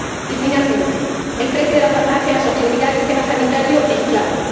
Y, finalmente, el precio de la farmacia, la sostenibilidad del sistema sanitario es clave.